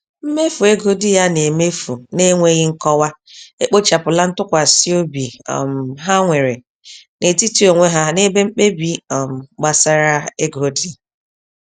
Mmefu ego di ya na-emefu na-enweghi nkọwa ekpochapụla ntụkwsịobi um ha nwere n'etiti onwe ha n'ebe mkpebi um gbasara ego dị.